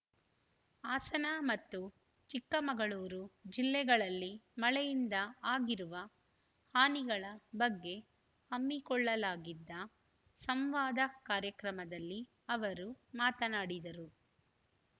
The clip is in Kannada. ಹಾಸನ ಮತ್ತು ಚಿಕ್ಕಮಗಳೂರು ಜಿಲ್ಲೆಗಳಲ್ಲಿ ಮಳೆಯಿಂದ ಆಗಿರುವ ಹಾನಿಗಳ ಬಗ್ಗೆ ಹಮ್ಮಿಕೊಳ್ಳಲಾಗಿದ್ದ ಸಂವಾದ ಕಾರ್ಯಕ್ರಮದಲ್ಲಿ ಅವರು ಮಾತನಾಡಿದರು